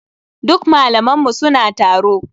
Duk malaman mu suna taro.